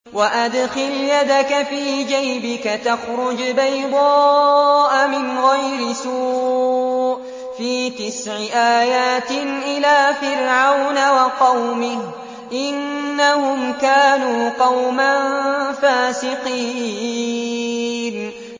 وَأَدْخِلْ يَدَكَ فِي جَيْبِكَ تَخْرُجْ بَيْضَاءَ مِنْ غَيْرِ سُوءٍ ۖ فِي تِسْعِ آيَاتٍ إِلَىٰ فِرْعَوْنَ وَقَوْمِهِ ۚ إِنَّهُمْ كَانُوا قَوْمًا فَاسِقِينَ